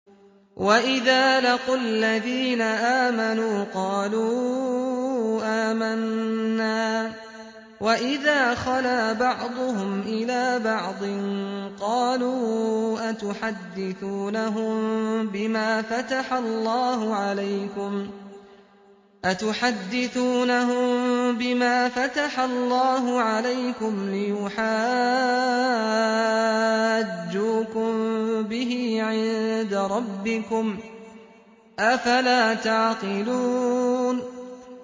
وَإِذَا لَقُوا الَّذِينَ آمَنُوا قَالُوا آمَنَّا وَإِذَا خَلَا بَعْضُهُمْ إِلَىٰ بَعْضٍ قَالُوا أَتُحَدِّثُونَهُم بِمَا فَتَحَ اللَّهُ عَلَيْكُمْ لِيُحَاجُّوكُم بِهِ عِندَ رَبِّكُمْ ۚ أَفَلَا تَعْقِلُونَ